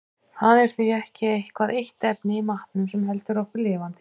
Það er því ekki eitthvað eitt efni í matnum sem heldur okkur lifandi.